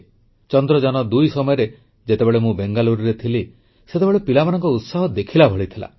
ଚନ୍ଦ୍ରଯାନ2 ସମୟରେ ଯେତେବେଳେ ମୁଁ ବେଙ୍ଗାଲୁରୁରେ ଥିଲି ସେତେବେଳେ ପିଲାମାନଙ୍କ ଉତ୍ସାହ ଦେଖିଲା ଭଳି ଥିଲା